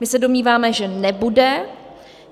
My se domníváme, že nebude.